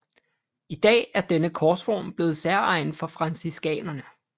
I dag er denne korsform blevet særegen for franciskanerne